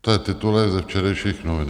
To je titulek ze včerejších novin.